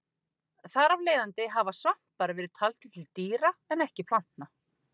Þar af leiðandi hafa svampar verið taldir til dýra en ekki plantna.